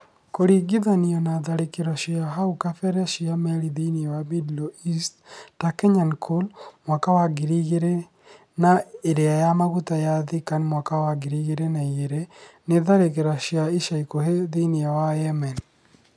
Kũringithanio na tharĩkĩro cia hau kabere cia meri thĩinĩ wa Middle East - ta Kenyan Cole mwaka wa 2000 na iria ya maguta ya Thikan mwaka wa 2002, na tharĩkĩro cia ica ikuhĩ thĩinĩ wa Yemen -